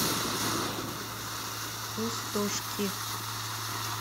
пустошки